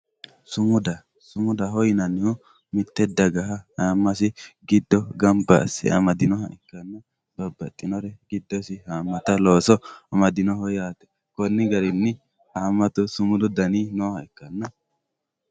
sumuda sumudaho yinannihu mitte dagaha ayiimasi giddosi gamba asse amadinoha ikkanna babbaxinore giddosi haammata looso amadinoho yaate konni garinni haammatu sumudu dani nooha ikkanna..